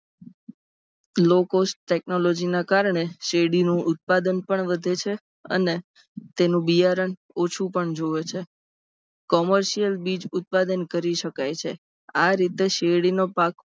Low cost technology ના કારણે શેરડીનું ઉત્પાદન પણ વધે છે અને તેનું બિયારણ ઓછું પણ જોવે છે. commercial બીજ ઉત્પાદન કરી સકાય છે. આ રીતે શેરડીનો પાક